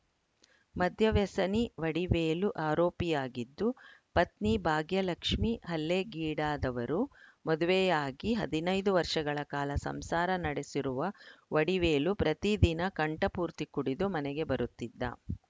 ಮದ್ಯವ್ಯಸನಿ ವಡಿವೇಲು ಆರೋಪಿಯಾಗಿದ್ದು ಪತ್ನಿ ಭಾಗ್ಯಲಕ್ಷ್ಮೀ ಹಲ್ಲೆಗೀಡಾದವರು ಮದುವೆಯಾಗಿ ಹದಿನೈದು ವರ್ಷಗಳ ಕಾಲ ಸಂಸಾರ ನಡೆಸಿರುವ ವಡಿವೇಲು ಪ್ರತಿದಿನ ಕಂಠಪೂರ್ತಿ ಕುಡಿದು ಮನೆಗೆ ಬರುತ್ತಿದ್ದ